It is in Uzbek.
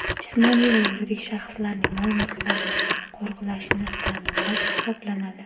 jismoniy va yuridik shaxslarning mol-mulklarini qo‘riqlashni taʼminlash hisoblanadi.